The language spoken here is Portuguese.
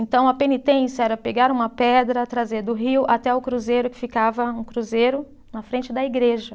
Então a penitência era pegar uma pedra, trazer do rio até o cruzeiro, que ficava um cruzeiro na frente da igreja.